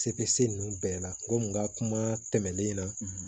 Sefe ninnu bɛɛ la ko n ka kuma tɛmɛnen na